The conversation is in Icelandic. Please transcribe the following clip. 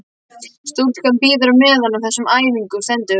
Stúlkan bíður á meðan á þessum æfingum stendur.